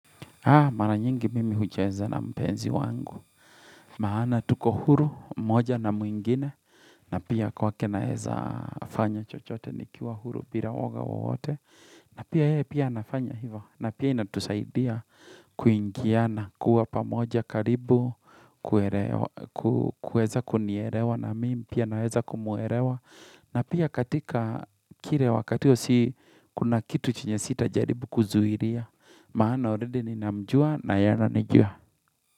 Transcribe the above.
Mara nyingi mimi hucheza na mpenzi wangu. Maana tuko huru, moja na mwingine, na pia kwake naeza fanya chochote nikiwa huru bila woga wote. Na pia yeye pia anafanya hivo, na pia inatusaidia kuingiana, kuwa pamoja karibu, kueza kunielewa na mimi, pia naeza kumuelewa. Na pia katika kile wakati huo si kuna kitu chenye sitajaribu kuzuhilia. Maana already ninamjua na yeye ananijua.